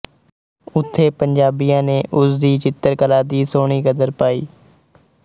ਉਥੇ ਪੰਜਾਬੀਆਂ ਨੇ ਉਸ ਦੀ ਚਿੱਤਰਕਲਾ ਦੀ ਸੁਹਣੀ ਕਦਰ ਪਾਈ ਹੈ